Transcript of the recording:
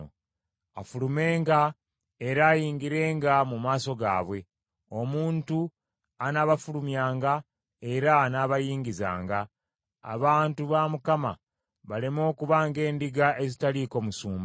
afulumenga era ayingirenga mu maaso gaabwe, omuntu anaabafulumyanga era anaabayingizanga, abantu ba Mukama baleme okuba ng’endiga ezitaliiko musumba.”